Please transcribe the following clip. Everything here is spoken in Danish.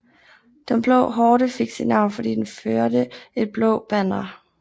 Den blå horde fik sit navn fordi den førte et blåt banner